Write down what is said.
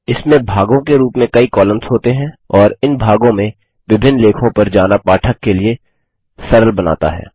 इसमें भागों के रूप में कई कॉलम्स होते हैं और इन भागों में विभिन्न लेखों पर जाना पाठक के लिए सरल बनाता है